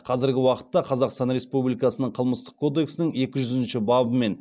қазіргі уақытта қазақстан республикасының қылмыстық кодексінің екі жүзінші бабымен